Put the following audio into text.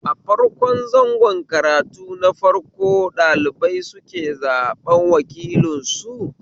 A farko zango karatu na farko ɗalibai suke zaɓen wakilansu